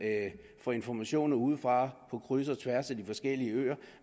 får informationer udefra på kryds og tværs af de forskellige øer